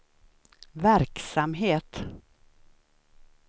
verksamhet